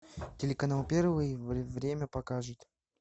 телеканал первый время покажет